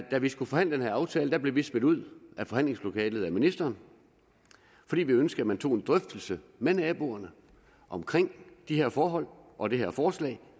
da vi skulle forhandle den her aftale blev vi smidt ud af forhandlingslokalet af ministeren fordi vi ønskede at man tog en drøftelse med naboerne om de her forhold og det her forslag